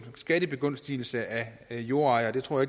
skattebegunstigelse af jordejere det tror